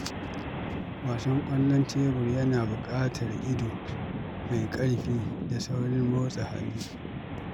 Wasan ƙwallon tebur yana buƙatar ido mai ƙarfi da saurin motsa hannu.